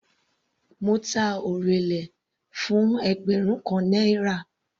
Mo ta orele fún ẹgbẹrun kan náírà.